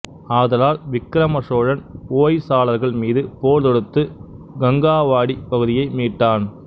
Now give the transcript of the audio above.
ஆதலால் விக்கிரம சோழன் ஹோய்சாளர்கள் மீது போர் தொடுத்து கங்காவாடிப் பகுதியை மீட்டான்